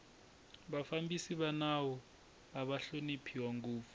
vafambisi va nawu ava hloniphiwa ngopfu